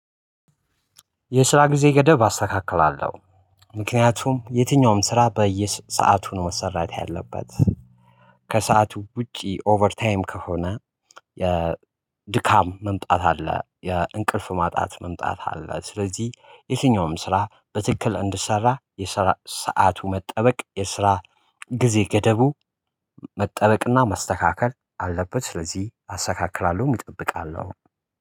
የስራ ጊዜ ገደብ አስተካክላለሁ። ምክንያቱም የትኛውም ስራ በየሰአቱ ነው መሰራት ያለበት። ከሰአቱ ውጪ ኦቨር ታይም ከሆነ። የድካም መምጣት አለ የእንቅልፍ ማጣት መምጣት አለ። ስለዚህ የትኛውም ስራ በትክክል እንድሰራ የሰዓቱ መጠበቅ የስራ ጊዜ ገደቡ መጠበቅና መስተካከል አለበት። ስለዚህ አስተካክላለሁም እጠብቃለሁ።